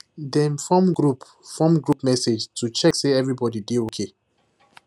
dem form group form group message to check say everynody dey okay